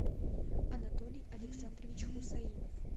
анатолий александрович хусаинов